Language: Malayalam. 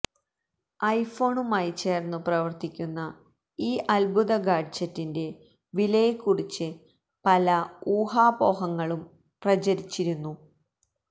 ഐഫോണുമായി ചേര്ന്നു പ്രവര്ത്തിക്കുന്ന ഈ അദ്ഭുത ഗാഡ്ജറ്റിന്റെ വിലയെക്കുറിച്ച് പല ഊഹാപോഹങ്ങളും പ്രചരിച്ചിരുന്നു